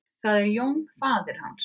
Það er Jón faðir hans.